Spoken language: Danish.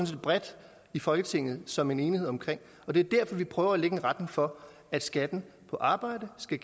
set bredt i folketinget som en enhed omkring og det er derfor vi prøver at lægge en retning for at skatten på arbejde skal